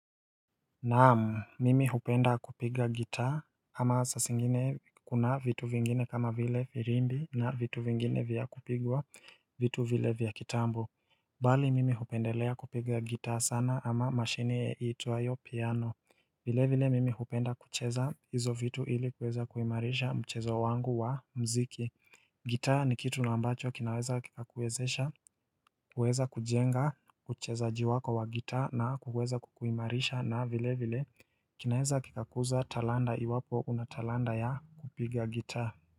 Naam, mimi hupenda kupiga gitaa ama sasingine kuna vitu vingine kama vile firimbi na vitu vingine vya kupigwa vitu vile vya kiambu. Bali mimi hupendelea kupiga gitaa sana ama mashine iitwayo piano vile vile mimi hupenda kucheza hizo vitu ili kuweza kuimarisha mchezo wangu wa mziki. Gitaa ni kitu na ambacho kinaweza kikakuwezesha, kueza kujenga, uchezaji wako wa gitaa na kukueza kukuimarisha na vile vile kinaweza kikakuza talanta iwapo una talanta ya kupiga gitaa.